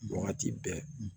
Wagati bɛɛ